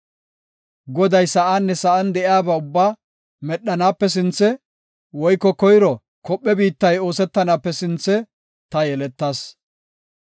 Goday sa7aanne sa7an de7iya ubbaa medhanaape sinthe woyko koyro kophe biittay oosetanaape sinthe ta yeletas.